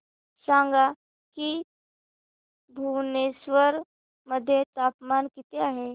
सांगा की भुवनेश्वर मध्ये तापमान किती आहे